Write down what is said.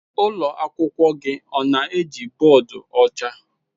Ụlọ akwụkwọ gị ọ na-eji bọọdụ ọcha?